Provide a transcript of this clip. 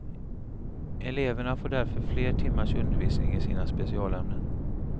Eleverna får därför fler timmars undervisning i sina specialämnen.